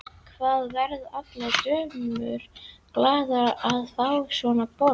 Það verða allar dömur glaðar að fá svona vorboð.